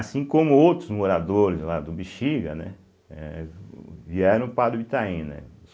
Assim como outros moradores lá do Bexiga, né, eh o vieram para o Itaim, né.